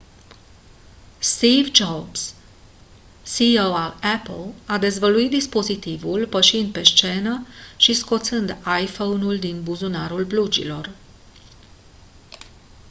steve jobs ceo al apple a dezvăluit dispozitivul pășind pe scenă și scoțând iphone-ul din buzunarul blugilor